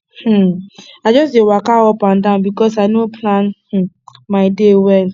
um i just dey waka up and down because i no plan um my day well